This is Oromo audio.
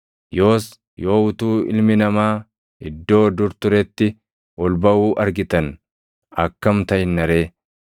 Yoos yoo utuu Ilmi Namaa iddoo dur turetti ol baʼuu argitan akkam taʼinna ree?